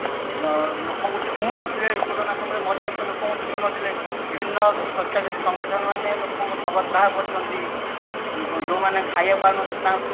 ଅ ଲୋକ ଙ୍କୁ ଛୁଁ ନଥିଲେ ଲୋକ ଙ୍କୁ ଛୁଁ ନଥିଲେ ବିଭିନ୍ନ ସ୍ବଛାଚାରୀ ସଂଗଠନ ମାନେ ଲୋକ ଙ୍କ ସବ ଦାହ କରିଛନ୍ତି ଯୋଉ ମାନେ ଖାୟାକୁ ପାଉନଥିଲେ ତାଙ୍କ